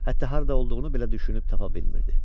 Hətta harda olduğunu belə düşünüb tapa bilmirdi.